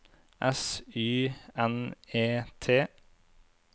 S Y N E T